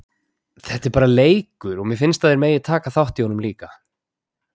Þetta er bara leikur og mér finnst að þeir megi taka þátt í honum líka.